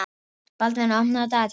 Baldvina, opnaðu dagatalið mitt.